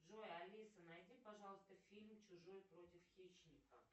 джой алиса найди пожалуйста фильм чужой против хищника